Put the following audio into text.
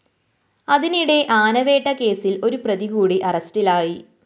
അതിനിടെ ആനവേട്ട കേസില്‍ ഒരു പ്രതി കൂടി അറസ്റ്റിലായി